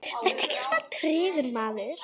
Vertu ekki svona tregur, maður!